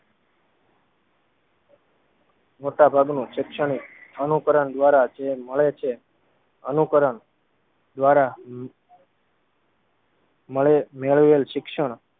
મોટાભાગનું શેક્ષણીક અનુકરણ દ્વારા જ મળે છે. અનુકરણ દ્વારા મળે મેળવેલ શિક્ષણ